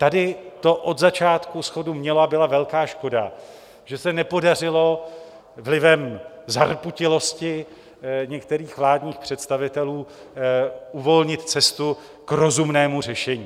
Tady to od začátku shodu mělo a byla velká škoda, že se nepodařilo vlivem zarputilosti některých vládních představitelů uvolnit cestu k rozumnému řešení.